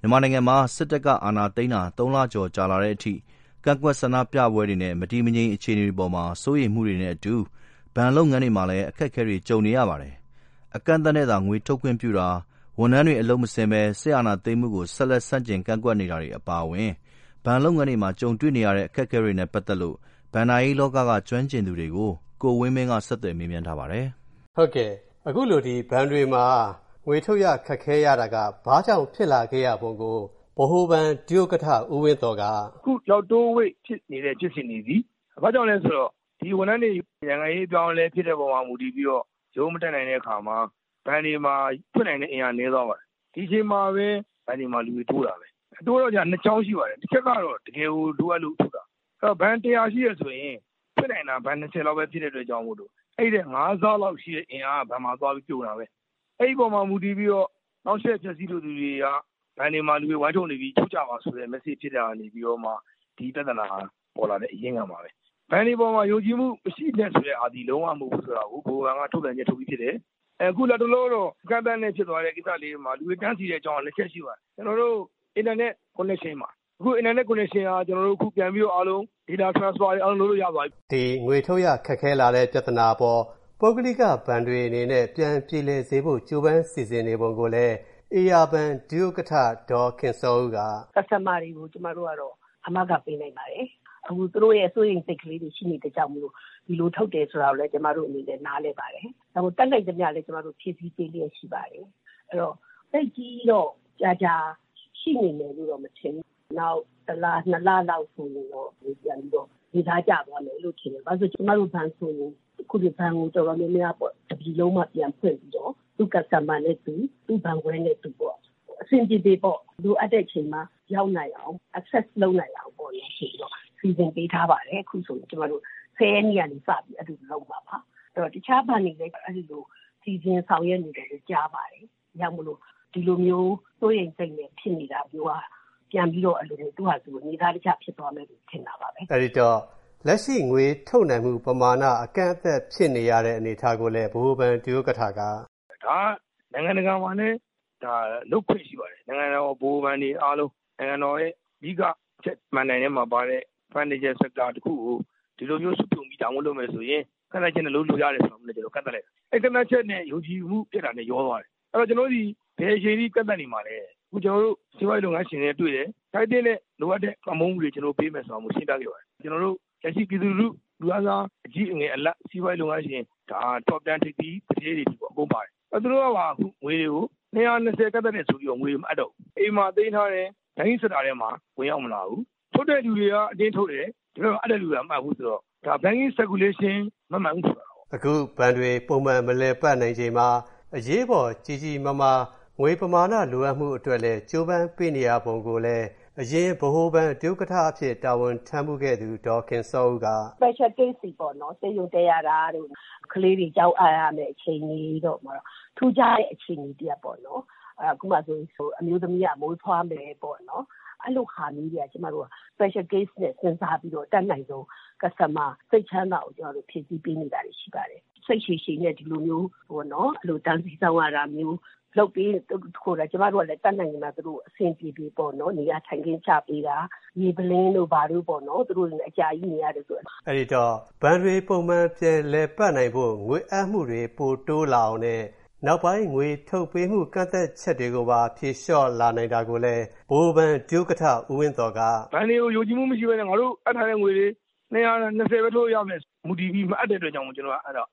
မြန်မာနိုင်ငံမှာ စစ်တပ်က အာဏာသိမ်းတာ ၃ လကျော် ကြာလာတဲ့ အချိန်အထိ ကန့်ကွက်ဆန္ဒပြပွဲတွေနဲ့ မတည်မငြိမ် အခြေအနေတွေအပေါ် စိုးရိမ်မှုတွေနဲ့အတူ ဘဏ်လုပ်ငန်းတွေမှာ အခက်အခဲတွေ ကြုံနေရပါတယ်။ အကန့်အသတ်နဲ့သာ ငွေထုတ်ခွင့်ပြုတာ၊ ဝန်ထမ်းတွေ အလုပ်မဆင်းပဲ စစ်အာဏာသိမ်းမှုကို ဆန့်ကျင်ကန့်ကွက်နေတာတွေ အပါအဝင် ဘဏ်လုပ်ငန်းတွေမှာ ကြုံတွေ့နေရတဲ့ အခက်အခဲတွေနဲ့ ပတ်သက်လို့ ဘဏ္ဍာရေးလောကက ကျွမ်းကျင်သူတွေကို ကိုဝင်းမင်းက ဆက်သွယ်မေးမြန်း တင်ပြထားပါတယ်။ အခုလို ဘဏ်တွေမှာ ငွေထုတ်ရ ခက်ခဲတာက ဘာကြောင့်ဖြစ်လာပုံကို ဗဟိုဘဏ် ဒုဥက္ကဋ္ဌ ဦးဝင်းသော်က “အခုဒီလောက်တိုးဝှေ.ဖြစ်နေတဲ့ ဖြစ်စဉ်တွေသည် ဘာကြောင့်လဲဆိုတော့ ဝန်ထမ်းတွေ ဒီလို နိုင်ငံရေးအပြောင်းအလဲဖြစ်တဲ့အပေါ်မှာ မူတည်ပြီးတော့ ရုံးမတက်နိုင်တဲ့အခါမှာ ဘဏ်တွေမှာ ဖွင့်နိုင်တဲ့အင်အားနည်းသွားပါတယ်။ ဒီအချိန်မှာပဲ ဘဏ်တွေမှာ လူတွေတိုးလာတယ်။ တိုးလာတယ်ဆိုတာက ၂ ကြောင်းရှိပါတယ်၊ တစ်ချက်ကတော့ တကယ်ကို လိုအပ်လို့ ထုတ်တာ ။ ဘဏ် ၁၀၀ ရှိတယ်ဆိုရင် ဖွင့်နိုင်တာက ဘဏ် ၂၀ လောက်ပဲ ဖြစ်တဲ့အတွက် အဲဒီထက် ၅ ဆလောက်ရှိတဲ့အင်အားက ဘဏ်မှာ သွားပြီး ပြုံတာပဲ ။ အဲဒီအပေါ်မှာ မူတည်ပြီးတော့ နောက်တချက် ဖျက်ဆီးလိုသူတွေက ဘဏ်တွေမှာ လူတွေဝိုင်းထုတ်နေပြီ ထုတ်ကြပါဆိုတဲ့ Message ဖြစ်တာကမှ ဒီပြဿနာ ပေါ်လာတဲ့ အရင်းခံပါပဲ။ ဘဏ်တွေပေါ်မှာ ယုံကြည်မှုမရှိနဲ့ဆိုတဲ့ဟာသည် လုံးဝမဟုတ်ဘူး ဆိုတာကို ဗဟိုဘဏ်က ထုတ်ပြန်ချက် ထုတ်ပြီးဖြစ်တယ်။ အခုလတ်တလာတော့ အကန့်အသတ်နဲ့ ဖြစ်သွားတဲ့ ကိစ္စလေးတွေမှာ လူတွေတန်းစီတဲ့ အကြောင်းအရာလေး ၁ ချက်ရှိပါတယ်၊ ကျနော်တို့ အင်တာနက် connection ပါ။ အခု အင်တာနက် connection က အားလုံး ပြန်ပြီးတော့ Data transfer တွေအားလုံး ကျနော်တို့ ပြန်လုပ်လို့ရသွားပါပြီ။” ဒီငွေထုတ်ရ ခက်ခဲလာတဲ့ ပြဿနာအပေါ် ပု ဂ္ဂလိကဘဏ်တွေနဲ့ ပြန်ပြေလည်စေဖို့ ကြိုးပမ်း စီစဉ်နေပုံကိုလည်း ဧရာဘဏ် ဥက္ကဋ္ဌ ဒေါ်ခင်စောဦးက “Customer တွေကို ကျမတို့က အာမခံပေးနိုင်ပါတယ်။ အခုသူတို့ရဲ့ စိုးရိမ်စိတ်ကလေးတွေ ရှိနေတဲ့အတွက်ကြောင့်မို့ ဒီလို ထုတ်တယ်ဆိုတာကိုလည်း ကျမတို့အနေနဲ့ နားလည်ပါတယ်။ ဒါကို တတ်နိုင်သမျှလည်း ကျမတို့ ဖြည့်ဆည်းပေးလျက်ရှိပါတယ်။ အဲဒီတော့ သိပ်ကြီးတော့ ကြာကြာရှိနေမယ်လို့တော့ ကျမတို့မထင်ဘူး။ နောက် ၁ လ ၂ လလောက်ဆိုရင်တော့ ပြန်ပြီးတော့ နေသားကျသွားမယ်လို့ ကျမထင်တယ်။ ဘာဖြစ်လို့လဲဆိုတော့ အခု ကျမတို့ ဘဏ်ကိုဆိုရင် တပြည်လုံးမှာ ပြန်ဖွင့်ပြီးတော့ သူ့ Customer နဲ့ သူ ၊ သူ့ ဘဏ်ခွဲနဲ့သူ အဆင်ပြေအောင်ပေ့ါ လိုအပ်တဲ့အချိန်မှာ ရောက်နိုင်အောင် Access လုပ်နိုင်အောင် ဆိုပြီး စီစဉ်ပေးထားပါတယ်။ အခုဆိုရင် ၁၀ ရက်နေ့ကနေစပြီး အဲ့လိုလုပ်မှာပါ။ အဲဒီတော့ တခြားဘဏ်တွေလည်း အဲဒီလို စီစဉ်ဆောင်ရွက်နေတယ်လို့ ကြားပါတယ်။ ဒါကြောင့်မို့လို့ ဒီလိုမျိုး စိုးရိမ်စိတ်နဲ့ ဖြစ်နေတာတွေက ပြန်ပြီးတော့ သူ့ဟာသူ နေသားတကျဖြစ်သွားမယ်လို့ ထင်တာပါပဲ။” အဲဒီတော့ လက်ရှိငွေထုတ်နိုင်မှုပမာဏ အကန့်အသတ်ဖြစ်နေရတဲ့ အနေအထားကိုလည် ဗဟိုဘဏ် ဒုဥက္ကဋ္ဌက “ဒါက နိုင်ငံတကာမှာလည်း လုပ်ခွင့်ရှိပါတယ်။ နိုင်ငံတကာမှာလည်း ဗဟိုဘဏ်တွေအားလုံး နိုင်ငံတော်ရဲ့ အဓိက မဏ္ဍို င် ထဲမှာပါတဲ့ Financial sector တခုကို ဒီလိုမျိုးစုပြုံပြီး ဒါမျိုးလုပ်မယ်ဆိုရင် ကန့်သတ်ချက်နဲ့ လုပ်လို့ရတယ် ဆိုတာမျိုးလည်း ကန့်သတ်လိုက်တာ။ အဲ့ဒိကန့်သတ်ချက်နဲ့ ယုံကြည်မှုပျက်တာနဲ့ ရောသွားတယ်။ အဲဒီတော့ ကျနော်တို့သည် ဘယ်အချိန်အထိ ကန့်သတ်နေမှာလဲ ။ အခုကျနော်တို့ စီးပွားရေးလုပ်ငန်းရှင်တွေနဲ့ တွေ့တယ်။ ထိုက်သင့်တဲ့ လိုအပ်တဲ့ ပံ့ပိုးမှုတွေ ကျနော်တို့ပေးမယ်ဆိုတာလည်း ရှင်းပြခဲ့ပါတယ်။ ကျနော်တို့ လက်ရှိ ပြည်သူလူထု လူတန်းစား ၊ အကြီး အငယ် အလတ် စီးပွားရေးလုပ်ငန်းရှင် Top 10 ထိပ်သီးသူဌေးတွေအထိ အကုန်ပါတယ်။ သူတို့က ငွေတွေကို ၂၀၀၊ ၂၀ အကန့်အသတ်နဲ့ဆိုတော့ ငွေတွေမအပ်တော့ဘူး အိမ်မှာသိမ်းထားတယ်၊ ဒီဘက်ကို ဝင်ရောက်မလာဘူး ။ ထုတ်တဲ့သူတွေက အတင်းထုတ်တယ်၊ ဒီဘက်က အပ်တဲ့လူတွေက မအပ်ဘူး ဆိုတော့ Banking circulation မမှန်ဘူးဖြစ်သွားတာပေါ့။” အခုဘဏ်တွေ ပုံမှန်မလည်ပတ်နိုင်ခြေမှာ အရေးပေါ် ကြီးကြီးမားမား ငွေပမာဏ လိုအပ်မှုအတွက်လည်း ကြိုးပမ်းပေးနေရပုံကိုလည်း အရင် ဗဟိုဘဏ် ဒုဥက္ကဋ္ဌအဖြစ် တာဝန်ထမ်းခဲ့ဖူးသူ ဒေါ်ခင်စောဦးက “Special case တွေပေါ့ ဆေးရုံတက်ရတာတို့ ၊ ကလေးတွေ ကျောင်းအပ်ရမယ့်အခြေအနေတို့ ထူးခြားတဲ့ အခြေအနေတရပ်ပေါ့နော်။ ဥပမာဆိုရင် အမျိုးသမီးက မီးဖွားမယ်ပေါ့နော် အဲလိုဟာမျိုးက ကျမတို့က Special case နဲ့ စဉ်းစားပြီးတော့ အတတ်နိုင်ဆုံး Customer စိတ်ချမ်းသာအောင် ဖြည့်ဆည်းပေးနေတာတွေရှိပါတယ်။ စိတ်ရှည်ရှည်နဲ့ ဒီလိုမျိုး တန်းစီစောင့်ရတာမျိုးကို ကျမတို့လည်း သူတို့ကို တတ်နိုင်သမျှ အဆင်ပြေပြေပေါ့နော် ၊ နေရာထိုင်ခင်းချပေးတာ၊ ရေပုလင်းတို့ဘာတို့ပေါ့နော် သူတို့တွေ အကြာကြီးနေရတယ်ဆိုတော့။” အဲဒီတော့ ဘဏ်တွေပုံမှန် ပြန်လည်ပတ်နိုင်ဖို့ ငွေအပ်မှုတွေ ပိုတိုးလာအောင်နဲ့ နောက်ပိုင်း ငွေထုတ်ပေးမှု ကန့်သတ်ချက်တွေကို ဖြေလျှော့လာနိုင်တာကိုလည်း ဗဟိုဘဏ် ဒုဥက္ကဋ္ဌ ဦးဝင်းသော်က “ဘဏ်တွေကို ယုံကြည်မှုမရှိပဲနဲ့ ငါတို့ အပ်ထားတဲ့ ငွေတွေ ၂၀၀၊ ၂၀ ပဲ ထုတ်လို့ရမယ်ဆိုတာကို မူတည်ပြီး မအပ်တဲ့အတွက်ကြောင့်မို့ အပ်